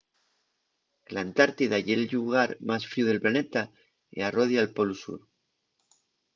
l’antártida ye’l llugar más fríu del planeta y arrodia’l polu sur